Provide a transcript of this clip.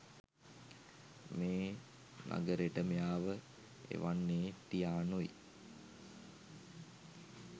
මේ නගරෙට මෙයාව එවන්නේ ටියානොයි.